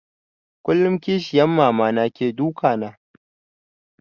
Kullum kishiyan Mama na ke duka na